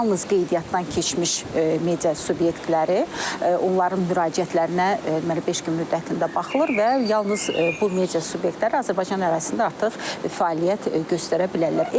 Yalnız qeydiyyatdan keçmiş media subyektləri, onların müraciətlərinə deməli beş gün müddətində baxılır və yalnız bu media subyektləri Azərbaycan ərazisində artıq fəaliyyət göstərə bilərlər.